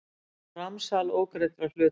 Framsal ógreiddra hluta.